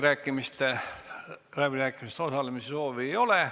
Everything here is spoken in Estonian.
Rohkem läbirääkimistel osalemise soovi ei ole.